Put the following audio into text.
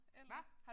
Hva?